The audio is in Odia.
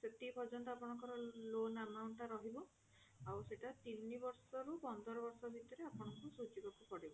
ସେତିକି ପର୍ଯ୍ୟନ୍ତ ଆପଣଙ୍କ ର loan amount ଟା ରହିବ ଆଉ ସେଟା ତିନି ବର୍ଷ ରୁ ପନ୍ଦର ବର୍ଷ ଭିତରେ ଆପଣଙ୍କୁ ସୁଝିବାକୁ ପଡିବ